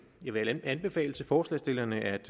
jeg vil anbefale forslagsstillerne at